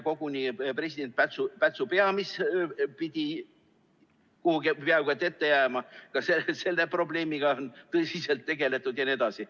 Koguni president Pätsu pea, mis pidi kuhugi peaaegu et ette jääma – ka selle probleemiga on tõsiselt tegeletud jne.